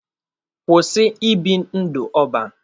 Kwụsị ibi ndụ ọban!